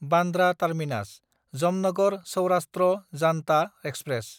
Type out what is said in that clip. Bandra टार्मिनास–जामनगर Saurashtra जान्था express